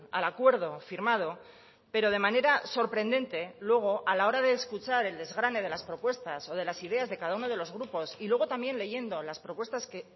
al acuerdo firmado pero de manera sorprendente luego a la hora de escuchar el desgrane de las propuestas o de las ideas de cada uno de los grupos y luego también leyendo las propuestas que